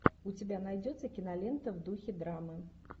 у тебя найдется кинолента в духе драмы